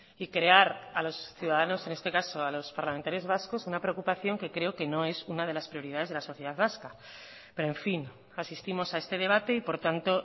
y crear a los ciudadanos en este caso a los parlamentarios vascos una preocupación que creo que no es una de las prioridades de la sociedad vasca pero en fin asistimos a este debate y por tanto